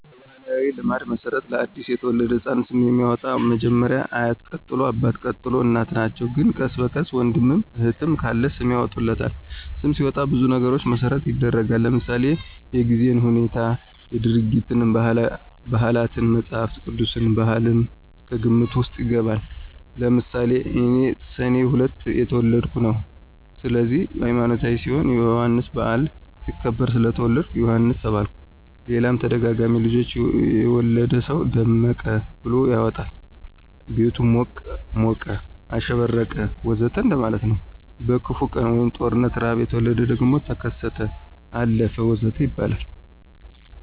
በባሕላዊ ልማድ መሠረት ለ አዲስ የተወለደ ሕፃን ስም የሚያወጣዉ መጀመሪያ አያት ቀጥሎ አባት፣ ቀጥሎ እናት ናቸው ግን ቀስ በቀስ ወንድምም እህትም ካለ ስም ያወጡለታል። ስም ሲወጣ ብዙ ነገሮችን መሰረት ይደረጋል ለምሳሌ:-የጊዜን ሁነት፣ ድርጊትን፣ ባህላትን፣ መፅሐፍ ቅዱስን፣ ባህልም ከግምት ውስጥ ይገባል። ለምሳሌ እኔ ሰኔ 2 የተወለድሁበት ነው ስለዚህ ሀይማኖታዊ ሲሆን የዮሐንስ በዓል ሲከበር ስለተወለድሁ ዮሐንስ ተባልሁኝ ሌላም ተደጋጋሚ ልጆች የወለደ ሰው ደመቀ ብሎ ያወጣል ቤቱ ሞቀ፣ አሸበረቀ ወዘተ እንደማለት ነው። በክፉ ቀን(ጦርነት፣ ርሐብ) የተወለደ ደግሞ ተከሰተ፣ አለፈ ወዘተ ይባላል